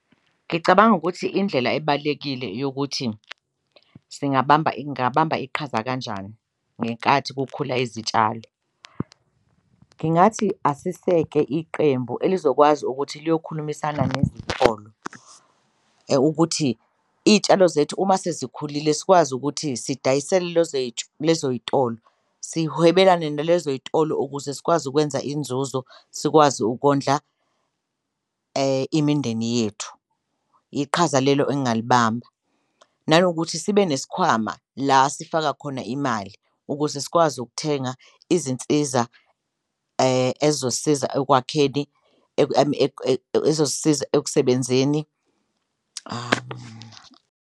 Ngicabanga ukuthi indlela ebalekile yokuthi singabamba ngabamba iqhaza kanjani ngenkathi kukhula izitshali, ngingathi asiseke iqembu elizokwazi ukuthi liyokhulumisana nezitolo ukuthi iy'tshalo zethu uma sezikhulile sikwazi ukuthi sidayisele lezo y'tolo sihwebelane nalezo ey'tolo ukuze sikwazi ukwenza inzuzo, sikwazi ukondla imindeni yethu iqhaza lelo engalibamba. Nanokuthi sibe nesikhwama la sifaka khona imali ukuze sikwazi ukuthenga izinsiza ezosiza ekwakheni ezosiza ekusebenzeni .